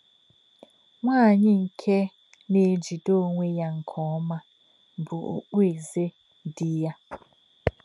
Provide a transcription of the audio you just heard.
“Nwá̄nyí̄ nké̄ nā̄-èjí̄dè̄ ọ̀nwé̄ yá̄ nké̄ ọ́mà̄ bụ́ ọ̀kpụ̀é̄zè̄ Dí̄ yá̄.”